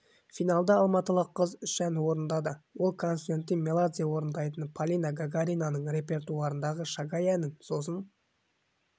финалда алматылық қыз үш ән орындады ол константин меладзе орындайтын полина гагаринаның репертуарындағы шагай әнін сосын